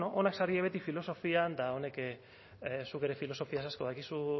onak zarete beti filosofian eta zuk ere filosofiaz asko dakizu